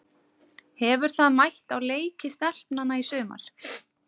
Hefur það mætt á leiki stelpnanna í sumar?